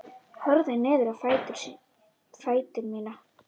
Horfi niður á fætur mína.